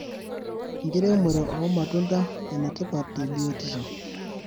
Enkiremore omatunda enetipat te biotisho.